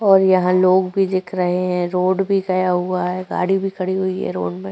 और यहां लोग भी दिख रहे हैं। रोड भी गया हुआ है। गाड़ी भी खड़ी हुई है रोड में।